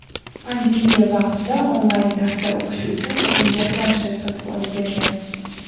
Pandemiya vaqtida onlayn tarzda o‘qishi uchun unga planshet sotib olib bergan.